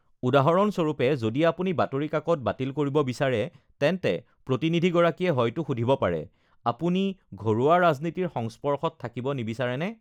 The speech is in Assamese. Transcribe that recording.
"উদাহৰণস্বৰূপে, যদি আপুনি বাতৰি কাকত বাতিল কৰিব বিচাৰে, তেন্তে প্ৰতিনিধিগৰাকীয়ে হয়তো সুধিব পাৰে, ""আপুনি ঘৰুৱা ৰাজনীতিৰ সংস্পৰ্শত থাকিব নিবিচাৰেনে?"""